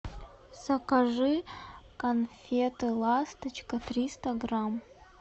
закажи конфеты ласточка триста грамм